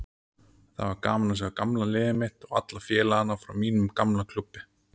Það var gaman að sjá gamla liðið mitt og alla félagana frá mínum gamla klúbbi.